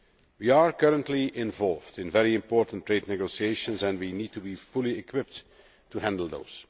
We are currently involved in very important trade negotiations, and we need to be fully equipped to handle these.